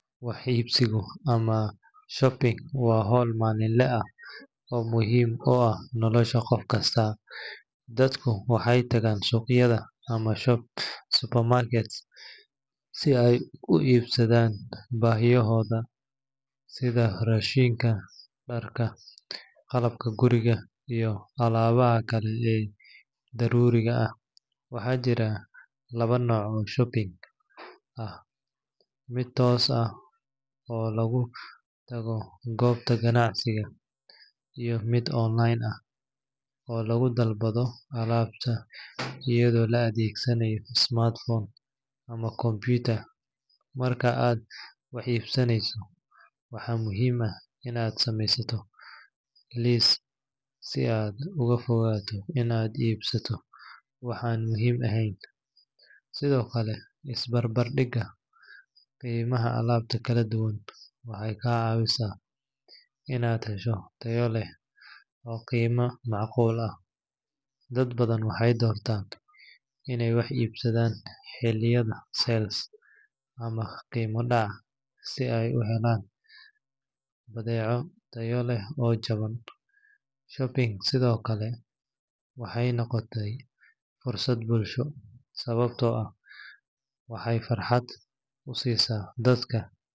Waxa ibsika amah shaabi wa hool malinlaha aah oo muhin u aah nolosha qoofkasta, dadku waxay tagan suqyada amah shopsupermarket si ay u ibsadan bahiyahoda setha rashinga darka qalabka guurika iyoh alabahan Kali ee leeyahay darurika aah waxajirah lawa noc oo shabi aah mid toos aah oo lagutagoh koobta kanacsika iyo mid online ah oo lagutagoh dalbathoh alabtaa eyado la adegsanayo smartphone amah marka aa wax ibsaneysoh waxa muhim aah Ina sameeystoh se aa ugufigatoh aa ibsatoh waxa muhim aheen sethokali isbabardiga qiimaha alabta kaladuwan waxkacawisah Ina heshoh taya leehqima macquul aah dad bathan waxay doortan inay wax ibsathan xeliyada sell amah Qima dacah si ay u helan batheco Taya leeh oo jaban shaabi waxay noqotay fursad bulsho sawabta oo aah waxay farxaada u sesah dadka.